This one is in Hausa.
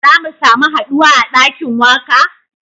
Za mu samu haduwa a dakin waka?